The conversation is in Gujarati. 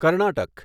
કર્ણાટક